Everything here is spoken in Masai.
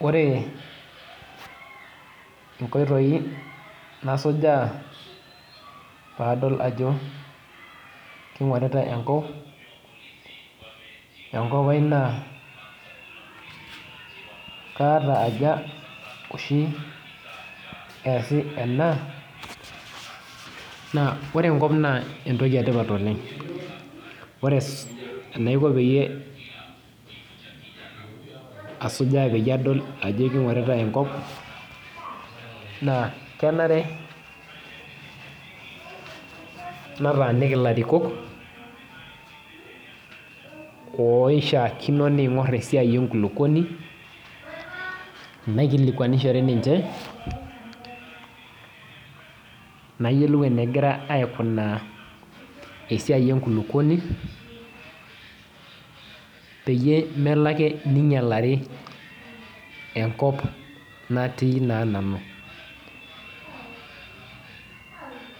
Ore inkoitoi nasujaa padol ajo kingoritae enkop aai na kaata aja oshi easibena na ore enkop na entoki etipat oleng ore enaiko pasujaa ajo kingoritae enkop na kenare nataaniki larikok oishaakino ningor esiai enkulukuoni naikilikwanishire ninche nayiolou enegira aikunaa esiai enkulukuoni peyie melo ake ninyalari enkop natii nanu